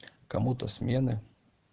кому-то смены